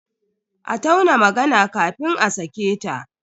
A tauna magana kafin a sake ta.